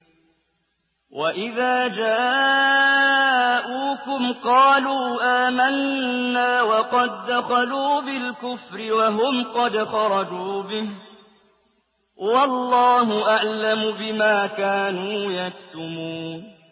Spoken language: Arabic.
وَإِذَا جَاءُوكُمْ قَالُوا آمَنَّا وَقَد دَّخَلُوا بِالْكُفْرِ وَهُمْ قَدْ خَرَجُوا بِهِ ۚ وَاللَّهُ أَعْلَمُ بِمَا كَانُوا يَكْتُمُونَ